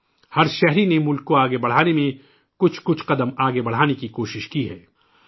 ہرشہری نےملک کو آگے بڑھانے میں ایک آدھا قدم آگے بڑھانے کی کوشش کی ہے